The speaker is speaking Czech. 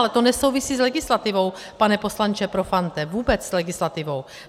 Ale to nesouvisí s legislativou, pane poslanče Profante, vůbec s legislativou.